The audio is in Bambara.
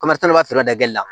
dali la